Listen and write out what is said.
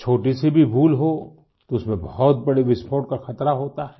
छोटीसी भी भूल हो तो उसमें बहुत बड़े विस्फोट का ख़तरा होता है